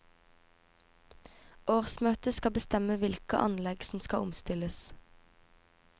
Årsmøtet skal bestemme hvilke anlegg som skal omstilles.